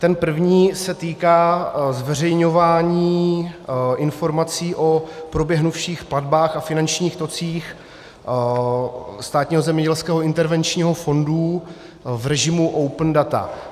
Ten první se týká zveřejňování informací o proběhnuvších platbách a finančních tocích Státního zemědělského intervenčního fondu v režimu open data.